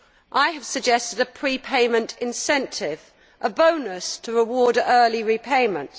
I have suggested a pre payment incentive, a bonus to reward early repayment.